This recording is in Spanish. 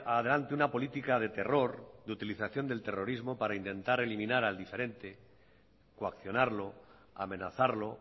adelante una política de terror de utilización del terrorismo para intentar eliminar al diferente coaccionarlo amenazarlo